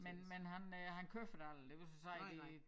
Men men han øh han køber det aldrig det vil så sige det